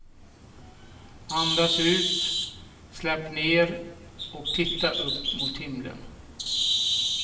Andas ut, släpp ner och titta upp mot himlen.